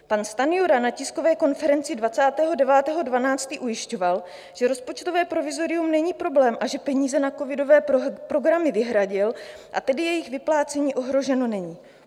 Pan Stanjura na tiskové konferenci 29. 12. ujišťoval, že rozpočtové provizorium není problém, že peníze na covidové programy vyhradil, a tedy jejich vyplácení ohroženo není.